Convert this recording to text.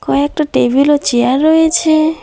কয়েকটা টেবিল ও চেয়ার রয়েছে।